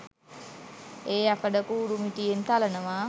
ඒ යකඩ කූරු මිටියෙන් තලනවා